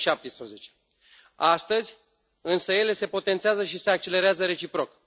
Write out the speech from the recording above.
2017. Astăzi însă, ele se potențează și se accelerează reciproc.